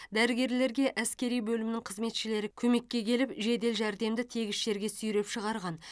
дәрігерлерге әскери бөлімнің қызметшілері көмекке келіп жедел жәрдемді тегіс жерге сүйреп шығарған